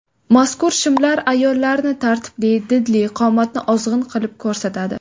Mazkur shimlar ayollarni tartibli, didli, qomatni ozg‘in qilib ko‘rsatadi.